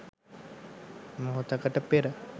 මොහොතකට පෙර